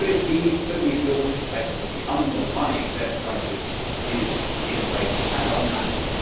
Could it be that we still suspect that the underlying debt crisis is in place and untackled?